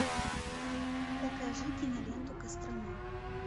покажи киноленту кострома